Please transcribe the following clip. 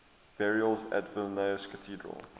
burials at vilnius cathedral